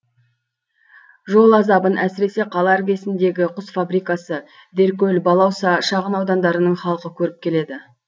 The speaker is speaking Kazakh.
жол азабын әсіресе қала іргесіндегі құс фабрикасы деркөл балауса шағын аудандарының халқы көріп келеді